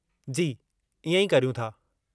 जी, इएं ई करियूं था।